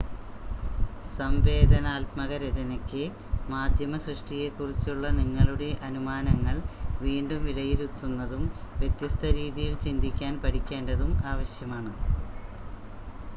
സംവേദനാത്മക രചനയ്‌ക്ക് മാധ്യമ സൃഷ്ടിയെക്കുറിച്ചുള്ള നിങ്ങളുടെ അനുമാനങ്ങൾ വീണ്ടും വിലയിരുത്തുന്നതും വ്യത്യസ്ത രീതിയിൽ ചിന്തിക്കാൻ പഠിക്കേണ്ടതും ആവശ്യമാണ്